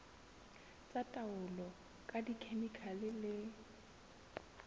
tsa taolo ka dikhemikhale le